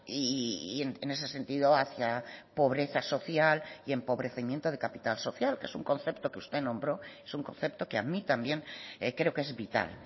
y en ese sentido hacia pobreza social y empobrecimiento de capital social que es un concepto que usted nombró es un concepto que a mí también creo que es vital